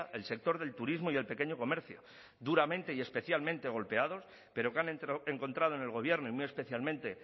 el sector del turismo y el pequeño comercio duramente y especialmente golpeados pero que han encontrado en el gobierno y muy especialmente